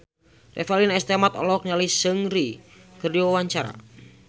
Revalina S. Temat olohok ningali Seungri keur diwawancara